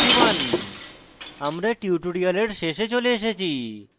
total is : 251 আমরা tutorial শেষে চলে এসেছি